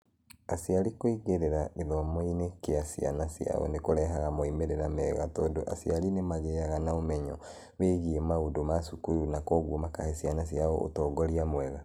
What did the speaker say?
Aciari kũingĩra gĩthomo-inĩ kĩa ciana ciao nĩ kũrehaga moimĩrĩro mega tondũ aciari nĩ magĩaga na ũmenyo wĩgiĩ maũndũ ma cukuru na kwoguo makahe ciana ciao ũtongoria mwega.